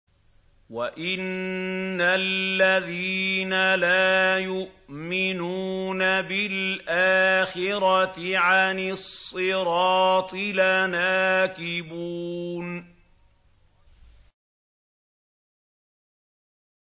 وَإِنَّ الَّذِينَ لَا يُؤْمِنُونَ بِالْآخِرَةِ عَنِ الصِّرَاطِ لَنَاكِبُونَ